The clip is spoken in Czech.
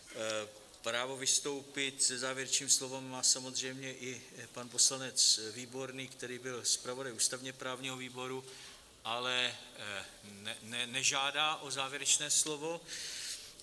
Právo vystoupit se závěrečným slovem má samozřejmě i pan poslanec Výborný, který byl zpravodajem ústavně-právního výboru, ale nežádá o závěrečné slovo.